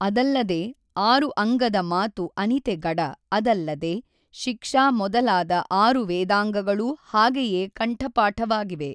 ಅದಲ್ಲದೆ ಆಱು ಅಂಗದ ಮಾತು ಅನಿತೆ ಗಡ ಅದಲ್ಲದೆ ಶಿಕ್ಷಾ ಮೊದಲಾದ ಆರು ವೇದಾಂಗಗಳೂ ಹಾಗೆಯೇ ಕಂಠಪಾಠವಾಗಿವೆ.